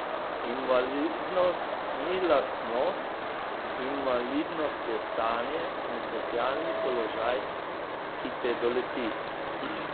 Invalidnost ni lastnost, invalidnost je stanje in socialni položaj, ki te doleti.